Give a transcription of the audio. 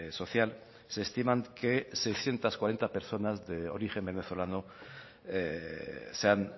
social se estiman que seiscientos cuarenta personas de origen venezolano se han